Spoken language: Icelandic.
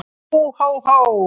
Hó, hó, hó!